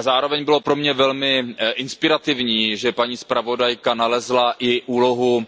Zároveň bylo pro mě velmi inspirativní, že paní zpravodajka nalezla i úlohu